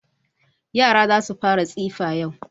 Yara za su fara tsifa yau.